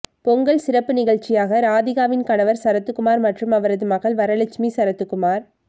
பொங்கல் சிறப்பு நிகழ்ச்சியாக ராதிகாவின் கனவர் சரத்குமார் மற்றும் அவரது மகள் வரலட்சுமி சரத்குமார்